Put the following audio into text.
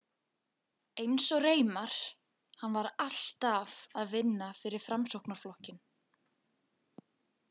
Eins og Reimar, hann var alltaf að vinna fyrir Framsóknarflokkinn.